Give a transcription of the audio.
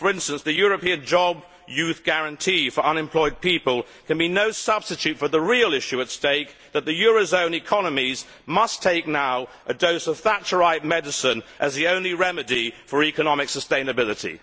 For instance, the European job youth guarantee for unemployed people can be no substitute for the real issue at stake that the eurozone economies must now take a dose of Thatcherite medicine as the only remedy for economic sustainability.